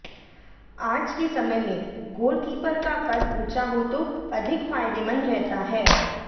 अाज के समय में गोलकीपर का कद ऊंचा हो तो अधिक फायदेमंद रहता है